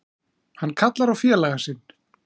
Hann kallar á félaga sinn.